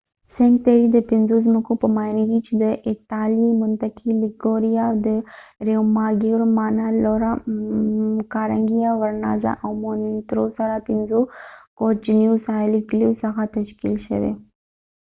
سینک تیري د پنځو ځمکو په معنی دي چې د ایتالیوي منطقې لیګوریا د ریوماګیور مانارولا کارنګلیا ورنازا او مونتروسو پنځو کوچنیو ساحلي کلیو څخه تشکیل شوې